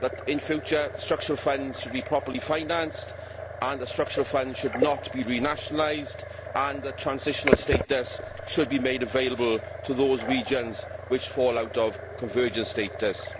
In future, structural funds should be properly financed, the structural funds should not be renationalised and the transitional status should be made available to those regions that fall out of convergent status.